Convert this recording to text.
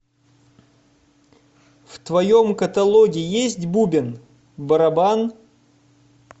в твоем каталоге есть бубен барабан